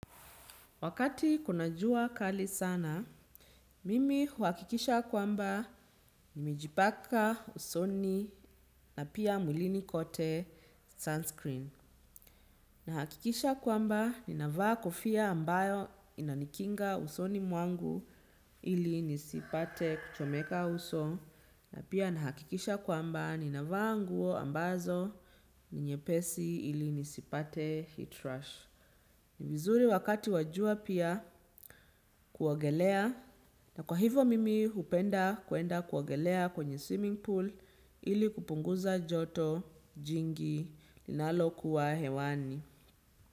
Wakati kuna jua kali sana, mimi uhakikisha kwamba nimejipaka usoni na pia muilini kote sunscreen. Na hakikisha kwamba ni navaa kofia ambayo inanikinga usoni muangu ili nisipate kuchomeka uso. Na pia na hakikisha kwamba ni navaa anguo ambazo ni nyepesi ili nisipate heat rush. Ni vizuri wakati wajua pia kuwogelea na kwa hivo mimi upenda kuenda kuwogelea kwenye swimming pool ili kupunguza joto jingi linalo kuwa hewani.